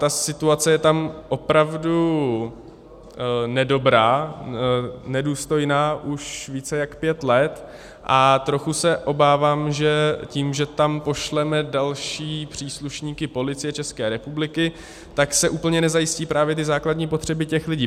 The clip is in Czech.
Ta situace je tam opravdu nedobrá, nedůstojná už více než pět let a trochu se obávám, že tím, že tam pošleme další příslušníky Policie České republiky, tak se úplně nezajistí právě ty základní potřeby těch lidí.